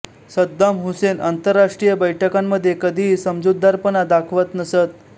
Saddam Hussein आंतरराष्ट्रीय बैठकांमध्ये कधीही समजूतदारपणा दाखवत नसत